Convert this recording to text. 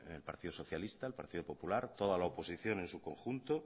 el partido socialista el partido popular toda la oposición en su conjunto